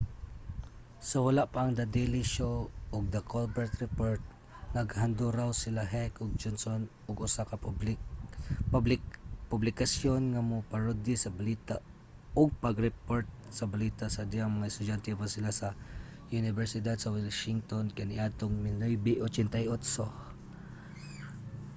sa wala pa ang the daily show ug the colbert report naghanduraw sila heck ug johnson og usa ka publikasyon nga mo-parody sa balita—ug pag-report sa balita—sa dihang mga estudyante pa sila sa unibersidad sa washington kaniadtong 1988